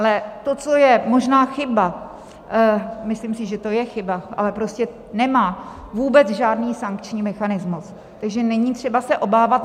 Ale to, co je možná chyba - myslím si, že to je chyba, ale prostě nemá vůbec žádný sankční mechanismus, takže není třeba se obávat.